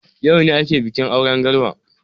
Yaune ake bikin auren Garba.